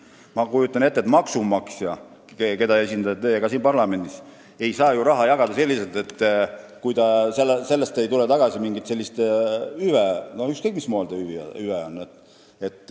Ma kujutan ette, et maksumaksjad, keda esindate ka teie siin parlamendis, ei saa ju raha jagada, kui sellest ei tule tagasi mingit hüvet, ükskõik mismoodi hüvet.